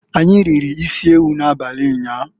Anyi riri isiewu na-abali nyaa..